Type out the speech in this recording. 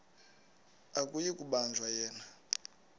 akuyi kubanjwa yena